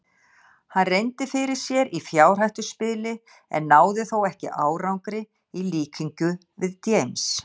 Hann reyndi fyrir sér í fjárhættuspili en náði þó ekki árangri í líkingu við James.